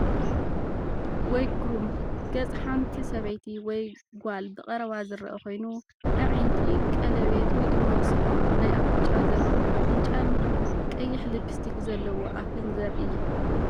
ወይ ግሩም! ገጽ ሓንቲ ሰበይቲ ወይ ጓል ብቐረባ ዝርአ ኮይኑ፡ ኣዒንቲ፡ ቀለቤት ወይ ድማ ሰቑር ናይ ኣፍንጫ ዘለዎ ኣፍንጫን ቀይሕ ልፕስቲክ ዘለዎ ኣፍን ዘርኢ እዩ።